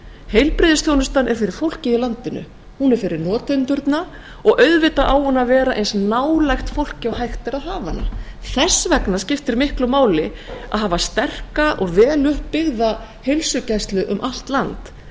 heilbrigðisþjónustan er fyrir fólkið í landinu hún er fyrir notendurna og auðvitað á hún að vera eins nálæg fólki og hægt er að hafa hana þess vegna skiptir máli að hafa sterka og veluppbyggða heilsugæslu um allt land